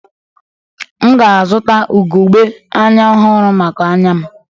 M ga-azụta ugogbe anya ọhụrụ maka anya m.